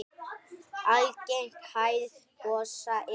Algeng hæð gosa er